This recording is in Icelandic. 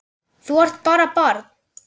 Þú ert bara barn.